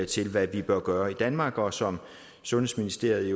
til hvad vi bør gøre i danmark og som sundhedsministeriet